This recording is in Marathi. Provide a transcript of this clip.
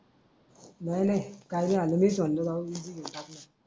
नाही नाही कायले आम्ही राव समजू